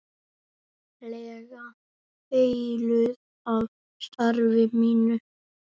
lega heilluð af starfi mínu.